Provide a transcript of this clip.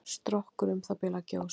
Strokkur um það bil að gjósa.